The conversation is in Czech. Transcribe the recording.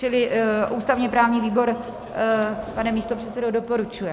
Čili ústavně-právní výbor, pane místopředsedo, doporučuje.